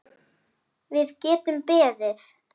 Við getum beðið.